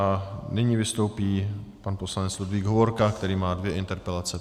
A nyní vystoupí pan poslanec Ludvík Hovorka, který má dvě interpelace.